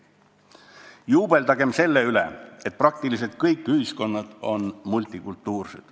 Juubeldagem selle üle, et praktiliselt kõik ühiskonnad on multikulturaalsed.